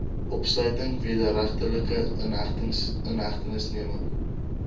opsluiting wederregtelike inhegtenisneming